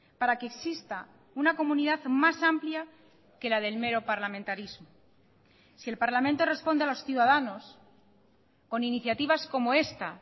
para que exista una comunidad más amplia que la del mero parlamentarismo si el parlamento responde a los ciudadanos con iniciativas como esta